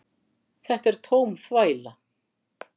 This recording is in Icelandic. Þetta er tóm þvæla